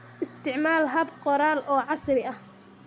Isticmaal hab qoraal oo casri ah.